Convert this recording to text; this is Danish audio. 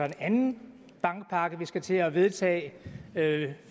en anden bankpakke som vi skal til at vedtage